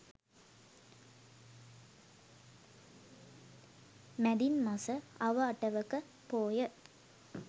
මැදින් මස අව අටවක පෝය